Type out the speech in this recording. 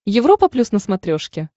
европа плюс на смотрешке